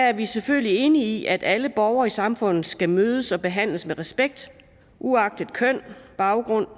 er vi selvfølgelig enige i at alle borgere i samfundet skal mødes og behandles med respekt uagtet køn baggrund